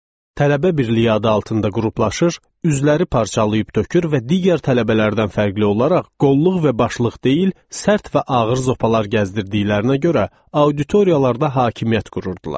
Tələbə birliyi adı altında qruplaşır, üzləri parçalayıb tökür və digər tələbələrdən fərqli olaraq qollluq və başlıq deyil, sərt və ağır zopalar gəzdirdiyinə görə auditoriyalarda hakimiyyət qururdular.